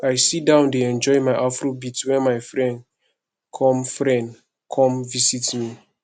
i sit down dey enjoy my afrobeat wen my friend come friend come visit me